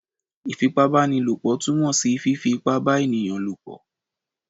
Ifípábanílopo tumọ sí fifí ípá bà eníyan ní ibálopọ